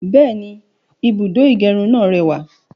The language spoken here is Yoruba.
Bẹ́ẹ̀ni, ibùdó ìgẹrun náà rẹwà